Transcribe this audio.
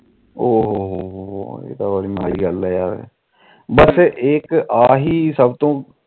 ਉ ਹੋ ਹੋ ਹੋ ਇਹ ਤਾ ਸੱਭ ਤੋ ਮਾੜੀ ਗੱਲ ਵੇਸੇ ਇਹ